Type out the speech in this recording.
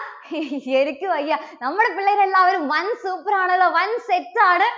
എനിക്കു വയ്യ. നമ്മുടെ പിള്ളേരെല്ലാവരും വൻ super ആണല്ലോ. വൻ set ആണ്.